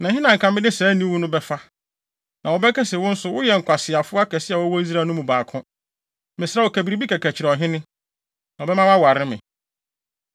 Na ɛhe na anka mede saa aniwu no bɛfa? Na wɔbɛka sɛ, wo nso woyɛ nkwaseafo akɛse a wɔwɔ Israel no mu baako. Mesrɛ wo, ka biribi kɛkɛ kyerɛ ɔhene, na ɔbɛma woaware me.”